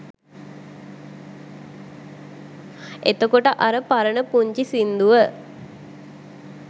එතකොට අර පරණ පුංචි සින්දුව